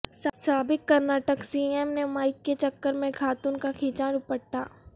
سابق کرناٹک سی ایم نے مائیک کے چکر میں خاتون کا کھینچا ڈوپٹہ